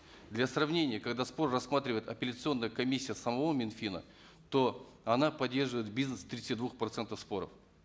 для сравнения когда спор рассматривает аппеляционная комиссия самого мин фина то она поддерживает бизнес в тридцати двух процентах споров